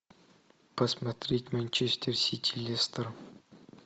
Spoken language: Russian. посмотреть манчестер сити лестер